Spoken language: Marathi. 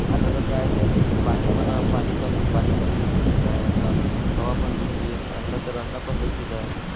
आता कस आहे ते पाणी पण पाणी पण पाणी पण दुषित झाला आहे आपला हवा पण दुषित अन्न तर अन्न पण दुषित आहे